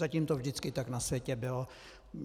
Zatím to vždycky tak na světě bylo.